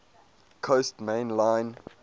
coast main line